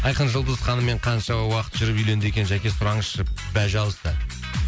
айқын жұлдыз ханыммен қанша уақыт жүріп үйленді екен жәке сұраңызшы пожалуйста